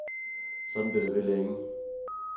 Sådan blev det ved længe.